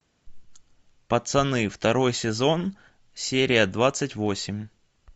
пацаны второй сезон серия двадцать восемь